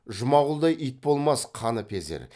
жұмағұлдай ит болмас қаныпезер